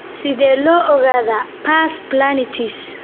Sidee loo ogaadaa pars planitis?